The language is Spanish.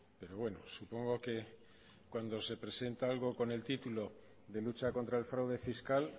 pero bueno supongo que cuando se presenta algo con el titulo de lucha contra el fraude fiscal